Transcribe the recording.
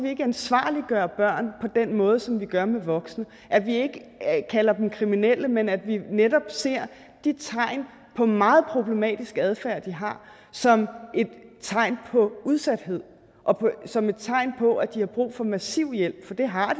ikke ansvarliggør børn på den måde som vi gør med voksne at vi ikke kalder dem kriminelle men at vi netop ser de tegn på meget problematisk adfærd de har som et tegn på udsathed og som et tegn på at de har brug for massiv hjælp for det har